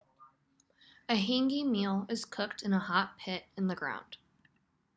a hangi meal is cooked in a hot pit in the ground